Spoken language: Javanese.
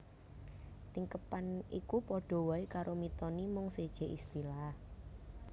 Tingkeban iku padha waé karo Mitoni mung sejé istilah